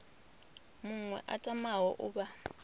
muṅwe a tamaho u vha